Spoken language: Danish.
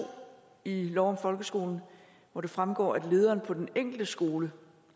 i lov om folkeskolen hvor det fremgår at lederen på den enkelte skole